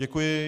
Děkuji.